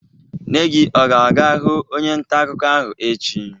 Nne gi ọ ga-aga hụ onye nta akụkọ ahụ echi?